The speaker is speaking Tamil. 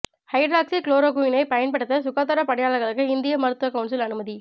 ஹைட்ராக்ஸி குளோரோகுயினை பயன்படுத்த சுகாதாரப் பணியாளர்களுக்கு இந்திய மருத்துவ கவுன்சில் அனுமதி